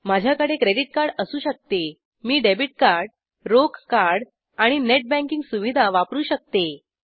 माझ्याकडे credit card असू शकते मी डेबिट कार्ड रोख कार्ड आणि नेट बँकिंग सुविधा वापरू शकते